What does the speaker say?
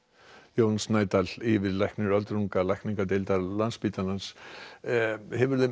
Jón Snædal yfirlæknir öldrunarlækningadeildar Landspítalans hefur þeim